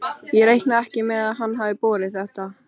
Ég reikna ekki með hann hafi borið þetta.